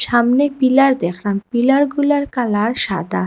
সামনে পিলার দেখলাম পিলারগুলার কালার সাদা।